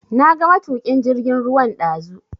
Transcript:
Na ga matukin jirgin ruwan dazu.